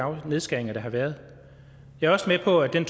nedskæringer der har været jeg er også med på at den